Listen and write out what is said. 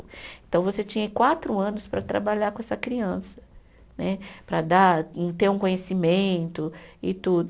Então, você tinha quatro anos para trabalhar com essa criança né, para dar ter um conhecimento e tudo.